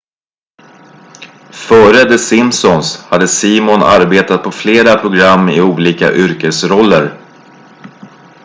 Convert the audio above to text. före the simpsons hade simon arbetat på flera program i olika yrkesroller